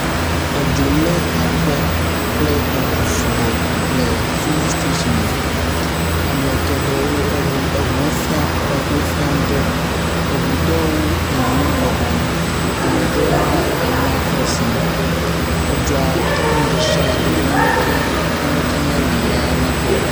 Edzo lé aƒe kple eŋu sugbɔ le filing station me. ame geɖewo , eŋu, eŋuwo fia eŋuwi fia ŋutɔ. Eŋu ɖewo yiyim gbɔgbɔm. Ame ɖewo hã emɔa crosim. Edzoa tɔ nu ɖe sia ɖe. Naneke meli ya nya kpɔ o.